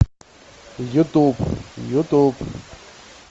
ютуб ютуб